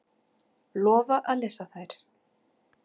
Lofa að lesa þær.